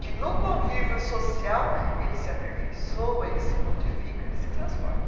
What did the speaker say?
Que no convívio social ele se aperfeiçoa, ele se modifica, ele se transforma.